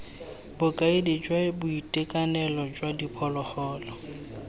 bokaedi jwa boitekanelo jwa diphologolo